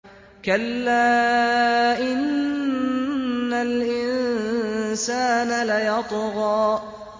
كَلَّا إِنَّ الْإِنسَانَ لَيَطْغَىٰ